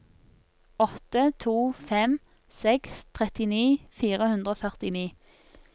åtte to fem seks trettini fire hundre og førtini